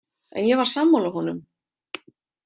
En ég var sammála honum.